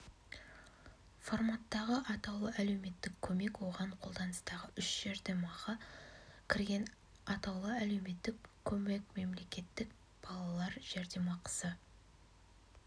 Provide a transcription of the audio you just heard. форматтағы атаулы әлеуметтік көмек оған қолданыстағы үш жәрдемақы кірген атаулы әлеуметтік көмек мемлекеттік балалар жәрдемақысы